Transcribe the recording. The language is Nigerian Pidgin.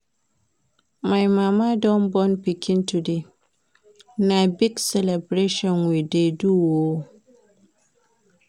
My mama don born pikin today, na big celebration we dey do o.